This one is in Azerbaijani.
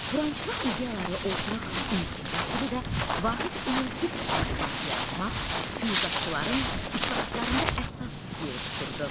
Turançılıq ideyaları ortaq ünsiyyət dili və vahid ümumtürk əlifbası yaratmaq füyuzatçıların islahatlarında əsas yer tuturdu.